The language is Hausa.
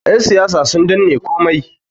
yansiyasa sun danne komai